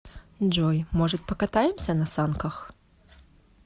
джой может покатаемся на санках